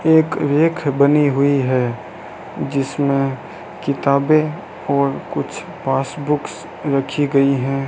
एक रेख बनी हुई है जिसमें किताबें और कुछ पासबुक्स रखी गई हैं।